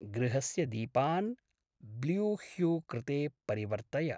गृहस्य दीपान् ब्ल्यूह्यू कृते परिवर्तय।